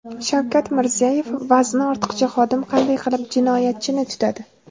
Shavkat Mirziyoyev: Vazni ortiqcha xodim qanday qilib jinoyatchini tutadi?